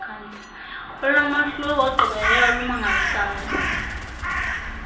olunomahluko olugqibeleleyo olumangalisayo